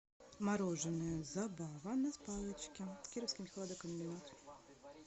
мороженое забава на палочке кировский хладокомбинат